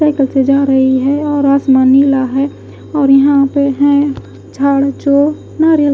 cycle से जा रही है और आसमान नीला है और यहाँ पे है झाड़‌ जो नारियल--